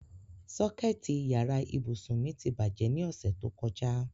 Sọ́kẹ̀tì yàrá ìbùsùn mi ti bàjẹ́ ní ọ̀sẹ̀ tó kọjá.